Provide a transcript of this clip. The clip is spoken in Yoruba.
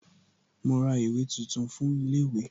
Mo ra ìwé tuntun fún ilé ìwé